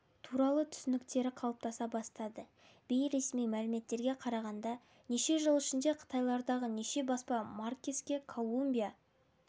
туралы түсініктері қалыптаса бастады бейресми мәліметтерге қарағанда неше жыл ішінде қытайдағы неше баспа маркеске колумбия